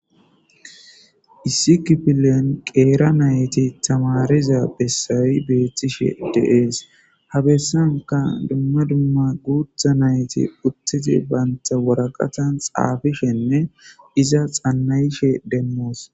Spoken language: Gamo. Issi kipilen qeera nayti tamariza bessayi beethtishe deees habessanka dumma dumma guutha nayti uttiti baynta woraqatan xaabishenne iza xannayishe demmoos.